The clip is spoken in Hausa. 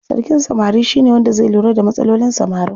Sarkin samari shine wanda zai lura da matsalolin samarin.